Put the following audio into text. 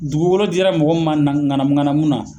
Dugugolo dira mɔgɔ min ma na ŋanamu ŋanamu na